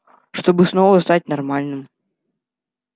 чтобы снова стать нормальным